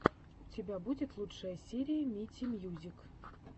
у тебя будет лучшая серия мити мьюзик